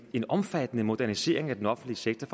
en omfattende modernisering af den offentlige sektor